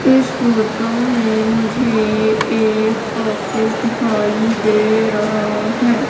इस फोटो में मुझे एक ऑफिस दिखाई दे रहा है।